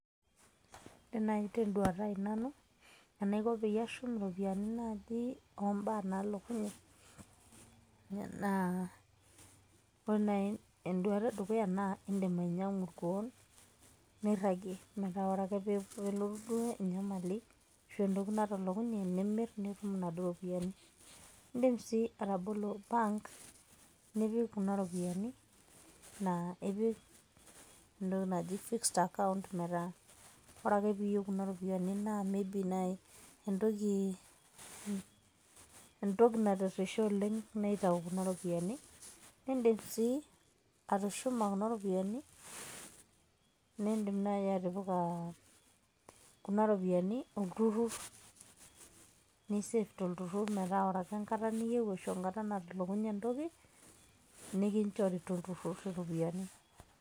Ore nai teduata ai nanu, enaiko peyie ashum iropiyiani naji ombaa nalokunye, naa ore nai eduata edukuya, naa idim ainyang'u irkuon, nirragie. Metaa ore ake pelotu duo enyamali, ashu entoki natolokunye, nimir, nitum inaduo ropiyaiani. Idim si atabolo bank, nipik kuna ropiyaiani. Na ipik entoki naji fixed account metaa, ore ake piyieu kuna ropiyaiani na may be nai entoki natirrisha oleng' naitau kuna ropiyaiani. Nidim si atushuma kuna ropiyaiani, nidim nai atipika kuna ropiyaiani olturrur, nisef tolturrurr metaa ore ake enkata niyieu ashu enatalokunye entoki, nikinchori tolturrurr iropiyiani.